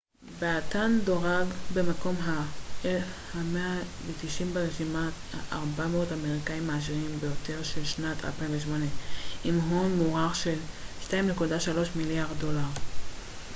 באתן דורג במקום ה-190 ברשימת 400 האמריקאיים העשירים ביותר של שנת 2008 עם הון מוערך של 2.3 מיליארד דולר